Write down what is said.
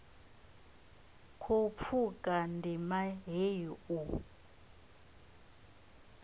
khou pfuka ndima heyi u